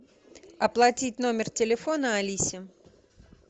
оплатить номер телефона алисе